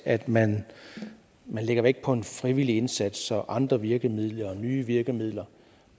at man lægger vægt på en frivillig indsats andre virkemidler og nye virkemidler